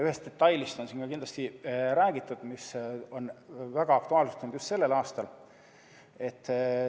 Ühest detailist on siin ka kindlasti räägitud, mis on väga aktuaalseks muutunud just sellel aastal.